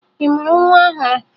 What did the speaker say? Ị mụrụ nwa ọhụrụ?